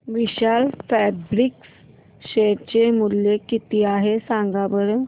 विशाल Fabrics share चे मूल्य किती आहे सांगा बरं